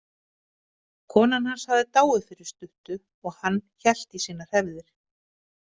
Konan hans hafði dáið fyrir stuttu og hann hélt í sínar hefðir.